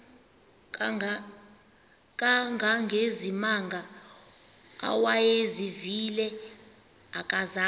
kangangezimanga awayezivile akazanga